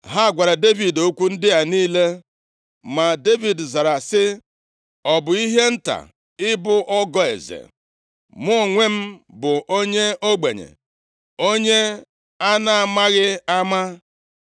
Ha gwara Devid okwu ndị a niile. Ma Devid zara sị, “Ọ bụ ihe nta ịbụ ọgọ eze? Mụ onwe m bụ onye ogbenye, onye a na-amaghị ama.”